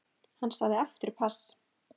Hann sagði aftur pass.